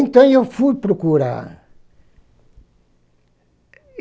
Então eu fui procurar.